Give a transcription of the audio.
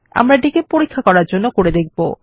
আমরা এটিকে পরীক্ষা করার জন্য করব